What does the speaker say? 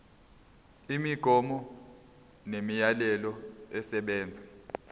imigomo nemiyalelo esebenza